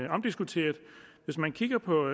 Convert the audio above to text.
omdiskuteret hvis man kigger på